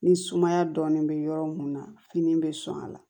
Ni sumaya dɔɔnin bɛ yɔrɔ mun na fini bɛ sɔn a la